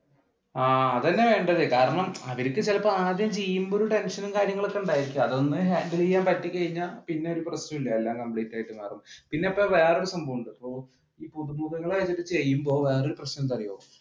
അത് തന്നെയാ വേണ്ടത് കാരണം അവർക്ക് ചിലപ്പോ ആദ്യം ചെയ്യുമ്പോ ഒരു ടെൻഷനും കാര്യങ്ങളും ഒക്കെ ഉണ്ടായേക്കാം അതൊന്നു handle ചെയ്യാൻ പറ്റിക്കഴിഞ്ഞ പിന്നെ ഒരു പ്രശ്നമില്ല, എല്ലാം complete ആയിട്ട് മാറും പിന്നെന്താ വേറൊരു സംഭവമുണ്ട്